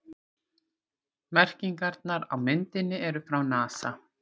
Merkingarnar á myndinni eru frá NASA.